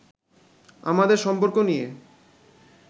আমাদের সম্পর্ক নিয়ে